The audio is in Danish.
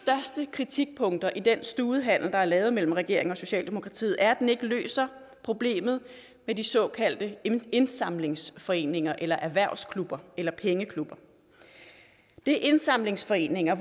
kritikpunkter i den studehandel der er lavet mellem regeringen og socialdemokratiet er at den ikke løser problemet med de såkaldte indsamlingsforeninger eller erhvervsklubber eller pengeklubber det er indsamlingsforeninger